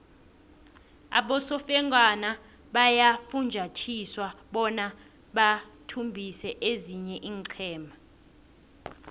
abosofengwana bayafunjathiswa bona bathumbise ezinye iinqhema